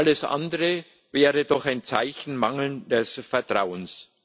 Alles andere wäre doch ein Zeichen mangelnden Vertrauens.